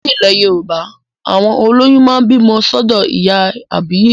Ní ilẹ̀ Yorùbá, àwọn olóyún máa ń bímọ sọ́dọ̀ ìyá àbíyè